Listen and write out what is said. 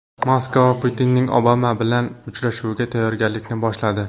Moskva Putinning Obama bilan uchrashuviga tayyorgarlikni boshladi.